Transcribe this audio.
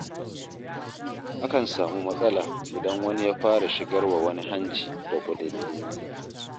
Akan samu matsala idan wani ya fara shigarwa wani hanci da ƙudundune.